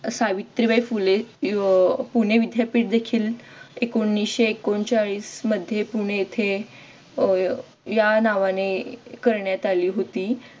सावित्रीबाई फुले पुणे विद्यापीठ देखीलएकोणविशे एकोणचाळीस मध्ये पुणे येथे अह या नावाने करण्यात आली होती